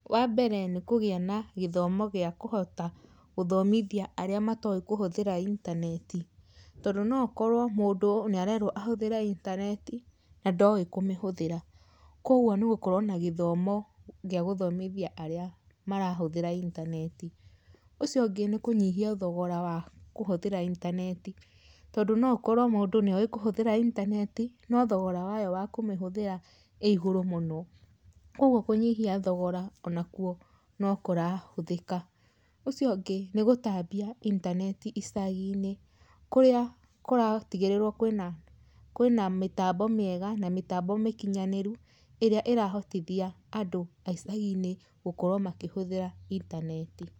Wambere nĩ kũgĩa na gĩthomo gĩa kũhota gũthomithia arĩa matoĩ kũhũthĩra intaneti, tondũ nokorwo mũndũ nĩ arerwo ahũthĩre intaneti na ndoĩ kũmĩhũthĩra, kwoguo nĩ ũgukorwo na gĩthomo gĩa gũthomithia arĩa marahũthĩra intaneti, ũcio ũngĩ nĩ kũnyihia thogora wa kũhothĩra intaneti, tondũ no ũkorwo mũndũ nĩ owĩ kũhũthĩra intaneti no thogora wayo wa kũmĩhũthĩra ĩ igũrũ mũno, kwoguo kũnyihia thogora ona kwuo nĩ kũrahũthĩka, ũcio ũngĩ nĩ gũtambia intaneti icaginĩ, kũrĩa kũratigĩrĩrwo kwĩna kwĩna mĩtambo mĩega na mĩtambo mĩkinyanĩru ĩrĩa ĩrahotithia andũ a icaginĩ gũkorwo makĩhũthĩra intaneti.